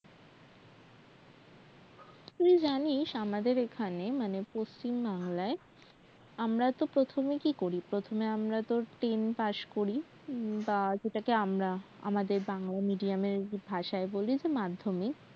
এই জানিস আমাদের এখানে মানে পশ্চিমবাংলায় আমরা তো প্রথমে কি করি প্রথমে আমরা তোর ten পাশ করি বা যে টাকে আমরা বাংলা medium এর যে ভাষায় বলি মাধ্যমিক